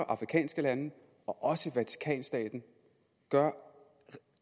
afrikanske lande og også vatikanstaten gjorde